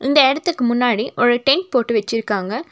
இந்த எடத்துக்கு முன்னாடி ஒரு டென்ட் போட்டு வச்சிருக்காங்க.